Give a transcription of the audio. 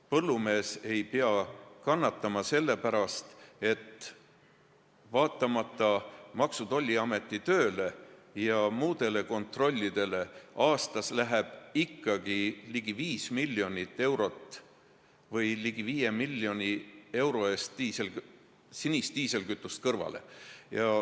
Põllumees ei pea kannatama selle pärast, et vaatamata Maksu- ja Tolliameti tööle ja muudele kontrollidele läheb aastas ikkagi ligi 5 miljoni euro eest sinist diislikütust kõrvale.